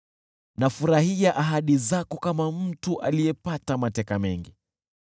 Nafurahia ahadi zako kama mtu aliyepata mateka mengi.